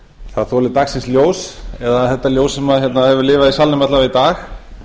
það þoli dagsins ljós eða þetta ljós sem hefur lifað í salnum alla vega í dag